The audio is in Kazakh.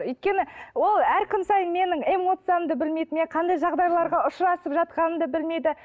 өйткені ол әр күн сайын менің эмоциямды білмейді мен қандай жағдайларға ұшырасып жатқанымды білмейді